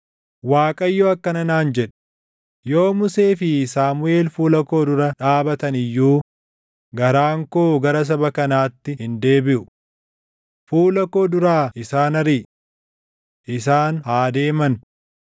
Waaqayyo akkana naan jedhe; “Yoo Musee fi Saamuʼeel fuula koo dura dhaabatan iyyuu garaan koo gara saba kanaatti hin deebiʼu. Fuula koo duraa isaan ariʼi! Isaan haa deeman!